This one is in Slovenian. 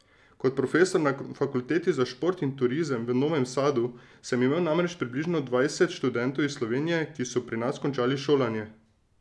Kot profesor na fakulteti za šport in turizem v Novem Sadu sem imel namreč približno dvajset študentov iz Slovenije, ki so pri nas končali šolanje.